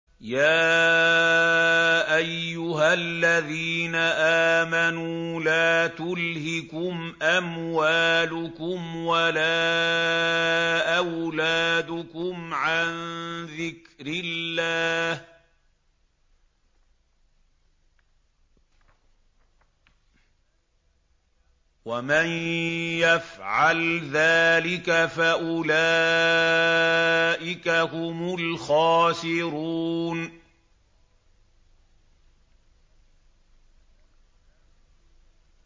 يَا أَيُّهَا الَّذِينَ آمَنُوا لَا تُلْهِكُمْ أَمْوَالُكُمْ وَلَا أَوْلَادُكُمْ عَن ذِكْرِ اللَّهِ ۚ وَمَن يَفْعَلْ ذَٰلِكَ فَأُولَٰئِكَ هُمُ الْخَاسِرُونَ